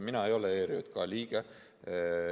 Mina ei ole ERJK liige.